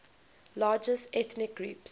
largest ethnic groups